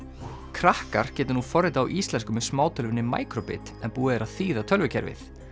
krakkar geta nú forritað á íslensku með micro bit en búið er að þýða tölvukerfið